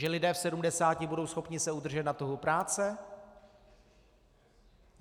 Že lidé v 70 budou schopni se udržet na trhu práce?